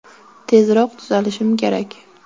Tezroq tuzalishim kerak.